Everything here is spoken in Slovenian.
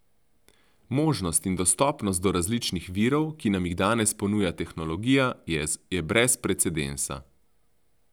Možnost in dostopnost do različnih virov, ki nam jih danes ponuja tehnologija, je brez precedensa.